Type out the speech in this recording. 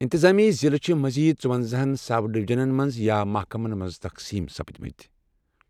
انتظٲمی ضِلع چھِ مزیٖد ژُوبزاہن سَب ڈِوجنن منٛز یا محکمن منٛز تقسیم سپدۍمٕتۍ۔